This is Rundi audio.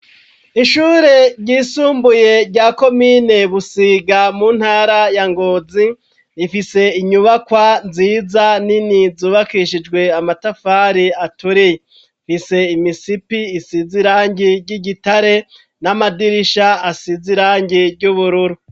Ishure ryisumbuye rya komine busiga mu ntara ya ngozi ifise inyubakwa nziza nini zubakishijwe amatafari aturiya rifise imisipi isizirangi ry'igitare n'amadirisha asizi irangi ry'ubururu.